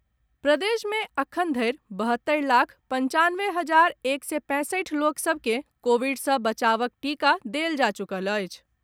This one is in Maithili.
प्रदेश मे एखन धरि बहत्तरि लाख पंचानवे हजार एक सय पैंसठि लोक सभ के कोविड सँ बचावक टीका देल जा चुकल अछि।